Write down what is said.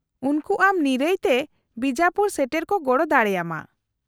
-ᱩᱱᱠᱩ ᱟᱢ ᱱᱤᱨᱟᱹᱭ ᱛᱮ ᱵᱤᱡᱟᱯᱩᱨ ᱥᱮᱴᱮᱨ ᱠᱚ ᱜᱚᱲᱚ ᱫᱟᱲᱮᱭᱟᱢᱟ ᱾